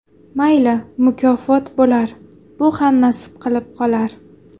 Mayli mukofot bo‘lar, bu ham nasib qilib qolar.